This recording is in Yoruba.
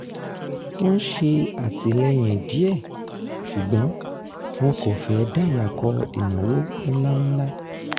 wọ́n ṣè àtìlẹ́yìn díẹ̀ ṣùgbọ́n wọn kò fẹ́ dàyàkọ ìnáwó ńláńlá